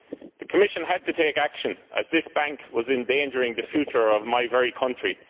The Commission had to take action as this bank was endangering the future of my very country.